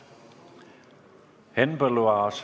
Henn Põlluaas.